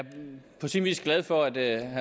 på sin vis glad for at